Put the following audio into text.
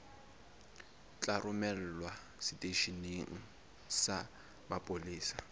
tla romelwa seteisheneng sa mapolesa